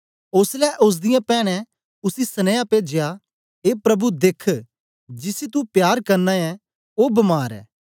ओसलै ओसदीयें पैन्नें उसी सन्नीया पेजया ए प्रभु देख्ख जिसी तू प्यार करना ऐं ओ बमार ऐ